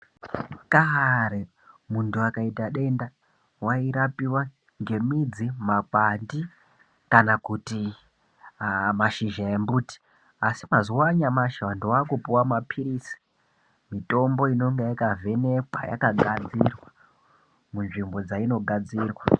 Kare muntu akaita denda wairapiwa ngemidzi ,makwati, kana kuti mashizha embuti. Asi p mazuwa anyamashi ,vantu vaakupuwa maphirizi, mitombo inonga yakavhenekwa, yakagadzirwa munzvimbo dzainogadzirwa.